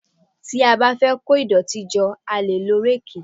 Tí a bá fẹ́ kó ìdọ̀tí jọ a lè lo ráàkì